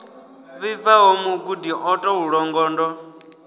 vhibvaho mugudi o tou longondo